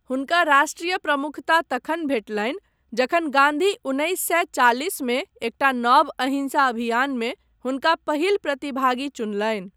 हुनका राष्ट्रिय प्रमुखता तखन भेटलनि जखन गान्धी उन्नैस सए चालिसमे एकटा नव अहिंसा अभियानमे हुनका पहिल प्रतिभागी चुनलनि।